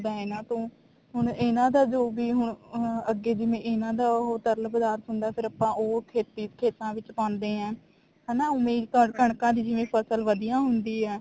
ਹੁੰਦਾ ਇਹਨਾ ਤੋਂ ਹੁਣ ਇਹਨਾ ਦਾ ਜੋ ਵੀ ਹੁਣ ਅੱਗੇ ਜਿਵੇਂ ਇਹਨਾ ਦਾ ਉਹ ਤਰਲ ਪਦਾਰਥ ਹੁੰਦਾ ਫ਼ੇਰ ਆਪਾਂ ਉਹ ਖੇਤੀ ਖੇਤਾਂ ਵਿੱਚ ਪਾਉਂਦੇ ਹਾਂ ਉਵੇਂ ਕਰ ਜਿਵੇਂ ਕਣਕਾਂ ਦੀ ਜਿਵੇਂ ਫਸਲ ਵਧੀਆ ਹੁੰਦੀ ਆ